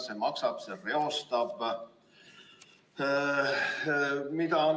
See maksab, see reostab.